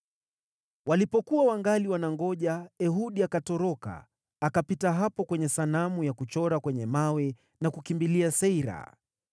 Walipokuwa wangali wanangoja, Ehudi akatoroka, akapita hapo kwenye sanamu ya kuchora kwenye mawe na kukimbilia Seira.